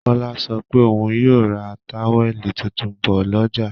Kọ́lá sọ pé òun yóò ra táwẹ̀lì tuntun bọ̀ lọ́jà